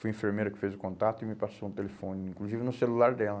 Foi a enfermeira que fez o contato e me passou um telefone, inclusive no celular dela.